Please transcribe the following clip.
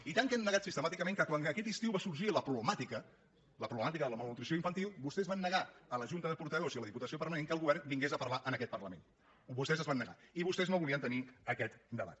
i tant l’han negat sistemàticament que quan aquest estiu va sorgir la problemàtica la problemàtica de la malnutrició infantil vostès van negar a la junta de portaveus i a la diputació permanent que el govern vingués a parlar en aquest parlament vostès s’hi van negar i vostès no volien tenir aquest debat